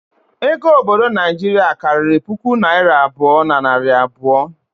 Ego obodo Naijiria karịrị puku naira abụọ na narị abụọ